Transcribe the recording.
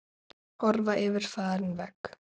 Horfa yfir farinn veg.